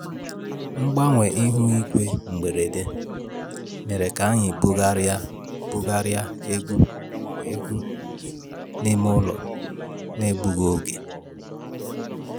Mgbanwe ihu igwe mberede mere ka anyị bugharịa bugharịa egwu egwu n'ime ụlọ n'egbughị oge